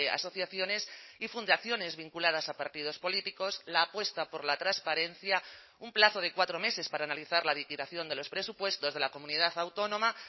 asociaciones y fundaciones vinculadas a partidos políticos la apuesta por la transparencia un plazo de cuatro meses para analizar la liquidación de los presupuestos de la comunidad autónoma